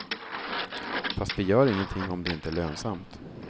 Fast vi gör ingenting om det inte är lönsamt.